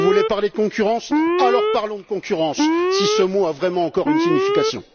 Vous voulez parler concurrence, alors parlons concurrence, si ce mot a vraiment encore une signification.